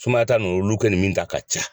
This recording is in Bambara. Sumaya ta ninnu olu keli minta ka ca.